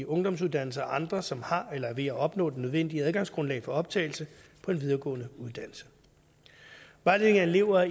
ungdomsuddannelser og andre som har eller er ved at opnå det nødvendige adgangsgrundlag for optagelse på en videregående uddannelse vejledning af elever